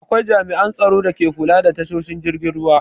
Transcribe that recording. Akwai jami'an tsaron dake kula da tashoshin jiragen ruwa.